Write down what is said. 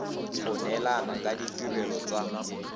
go neelana ka ditirelo tsa